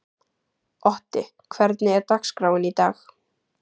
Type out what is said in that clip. Otti, hvernig er dagskráin í dag?